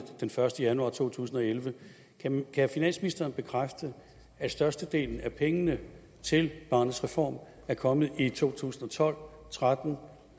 den første januar to tusind og elleve kan finansministeren bekræfte at størstedelen af pengene til barnets reform er kommet i to tusind og tolv og tretten og